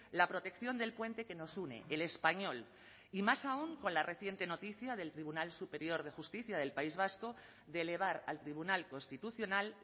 la protección del puente que nos une el español y más aún con la reciente noticia del tribunal superior de justicia del país vasco de elevar al tribunal constitucional